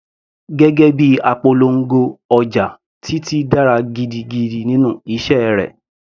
Gẹ́gẹ́ bíi apolongo ọjà, Titi dára gidigidi nínú iṣẹ́ rẹ̀.